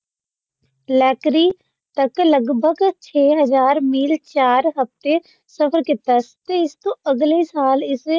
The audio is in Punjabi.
ਲੈਕਰੀ ਤਕ ਲਗਭਗ ਛੇ ਹਾਜ਼ਰ ਮੀਲ ਚਾਰ ਹਫਤੇ ਸਫਰ ਕੀਤਾ ਤੇ ਇਸ ਤੋਂ ਅਗਲੇ ਸਾਲ ਇਸੇ